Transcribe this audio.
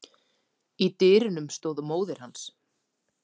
Í dyrunum stóð móðir hans.